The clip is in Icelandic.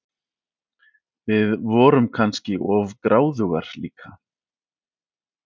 Við vorum kannski of gráðugar líka.